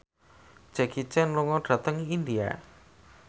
Jackie Chan lunga dhateng India